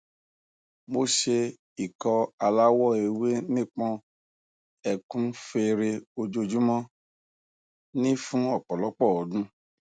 mo se ikọ alawọ ewe nipọn ekun fere ojoojumo ni fun opolopo odun